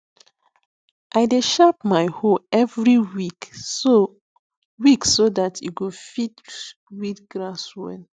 i dey sharp my hoe every week so week so dat e go fit weed grass well